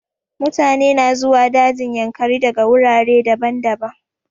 Mutane na zuwa dajin yankari daga wurare daban-daban.